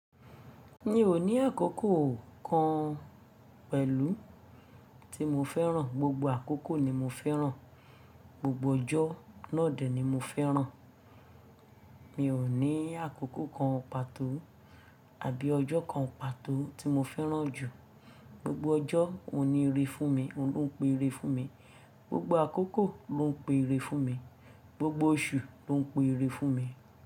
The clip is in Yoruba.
Mi ò ní àkókò kan pẹ̀lú tí mo fẹ́ràn, gbogbo àkókò ni mo fẹ́ràn, gbogbo ọjọ́ náà dẹ̀ ni mo fẹ́ràn. Mi ò ní àkókò kan pàtó àbí ọjọ́ kan pàtó tí mo fẹ́ràn jù. Gbogbo ọjọ́ òun ni ìrè fún mi, òun lo' n pe ire fún mi. Gbogbo àkókò ló ń pe ire fún mi. Gbogbo oṣù ló ń pe ire fún mi.